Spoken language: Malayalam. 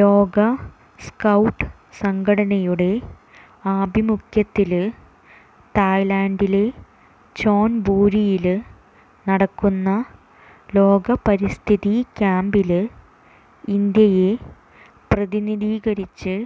ലോക സ്കൌട്ട് സംഘടനയുടെ ആഭിമുഖ്യത്തില് തായ്ലന്ഡിലെ ചോന്ബുരിയില് നടക്കുന്ന ലോക പരിസ്ഥിതി ക്യാമ്പില് ഇന്ത്യയെ പ്രതിനിധീകരിച്ച്